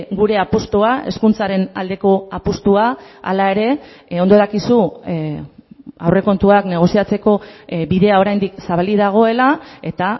gure apustua hezkuntzaren aldeko apustua hala ere ondo dakizu aurrekontuak negoziatzeko bidea oraindik zabalik dagoela eta